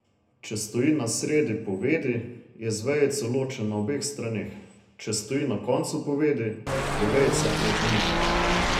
Če stoji na sredi povedi, je z vejico ločen na obeh straneh, če stoji na koncu povedi, je vejica pred njim.